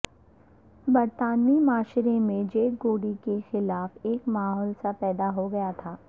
برطانوی معاشرے میں جیڈ گوڈی کے خلاف ایک ماحول سا پیدا ہوگیا تھا